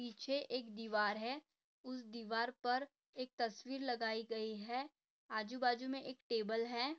पीछे एक दीवार है उस दीवार पर एक तस्वीर लगाई गई है आजू बाजू मे एक टेबल है।